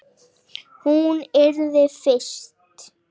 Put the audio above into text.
Röddin líka.